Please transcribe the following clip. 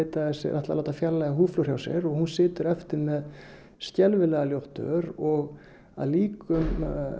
ætlaði að láta fjarlægja húðflúr hjá sér hún situr eftir með skelfilega ljótt ör og að líkindum